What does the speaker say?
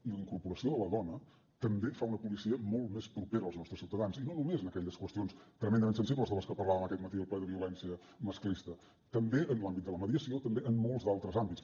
i la incorporació de la dona també fa una policia molt més propera als nostres ciutadans i no només en aquelles qüestions tremendament sensibles de les que parlàvem aquest matí al ple de violència masclista també en l’àmbit de la mediació també en molts d’altres àmbits